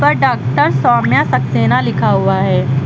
Doctor Saumya Saxena लिखा हुआ है।